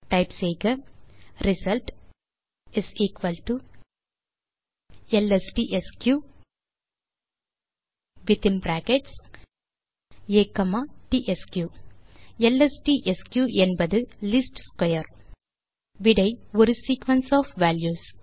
type செய்க result lstsq within brackets A comma tsq160 lstsq என்பது least square விடை ஒரு சீக்வென்ஸ் ஒஃப் வால்யூஸ்